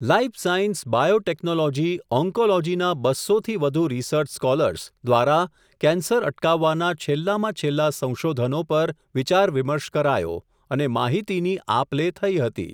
Life science, biotechnology, ઓન્કોલોજીના બસ્સો થી વધુ રિસર્ચ સ્કોલર્સ, દ્વારા કેન્સર અટકાવવાના છેલ્લામાં છેલ્લાં સંશોધનો પર, વિચાર વિમર્શ કરાયો, અને માહિતીની આપ લે થઇ હતી.